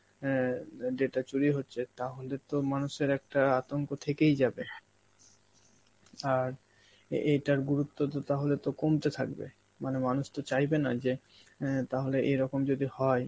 অ্যাঁ দা~ data চুরি হচ্ছে, তাহলে তো মানুষের একটা আতঙ্ক থেকেই যাবে, আর এ এটার গুরুত্ব তো তাহলে তো কমতে থাকবে মানে মানুষ তো চাইবে না যে এ তাহলে এরকম যদি হয়